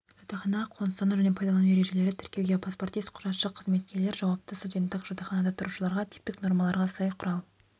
жатақханаға қоныстану және пайдалану ережелері тіркеуге паспортист-құжатшы қызметкер жауапты студенттік жатақханада тұрушыларға типтік нормаларға сай құрал